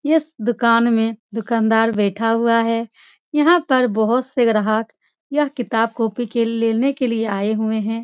इस दुकान में दुकानदार बैठा हुआ है यहाँ पर बहोत से ग्राहक यह किताब कॉपी के लेने के लिए आए हुए हैं।